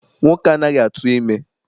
Nwoke anaghị atụ ime.